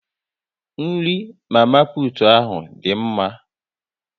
Nri mama putu ahu ọ dị mma?